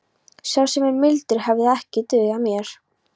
Sá sem er mildur hefði ekki dugað mér.